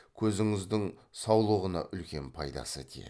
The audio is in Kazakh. көзіңіздің саулығына үлкен пайдасы тиеді